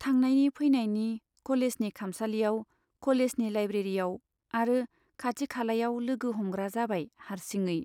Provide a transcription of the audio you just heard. थांनायनि फैनायनि कलेजनि खामसालियाव , कलेजनि लाइब्रेरीयाव आरो खाथि खालायाव लोगो हमग्रा जाबाय हार्सिङै।